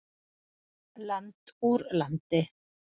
Land úr landi.